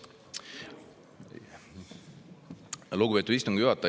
Lugupeetud istungi juhataja!